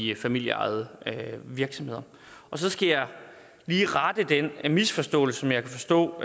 de familieejede virksomheder så skal jeg lige rette den misforståelse som jeg kan forstå